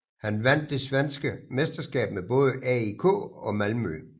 Han vandt det svenske mesterskab med både AIK og Malmö